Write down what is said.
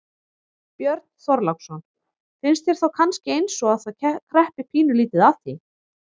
Björn Þorláksson: Finnst þér þá kannski eins og að það kreppi pínulítið að því?